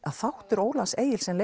þáttur Ólafs Egils er